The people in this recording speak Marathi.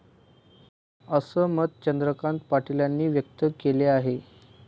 असं मत चंद्रकांत पाटीलांनी व्यक्त केले आहे.